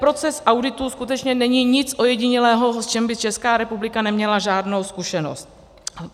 Proces auditu skutečně není nic ojedinělého, v čem by Česká republika neměla žádnou zkušenost.